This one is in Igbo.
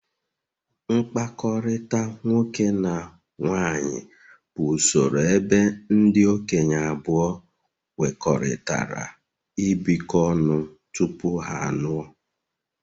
mkpakọrịta nwoke na nwaanyị bụ usoro ebe ndị okenye abụọ kwekọrịtara ibikọ ọnụ tupu ha alụọ.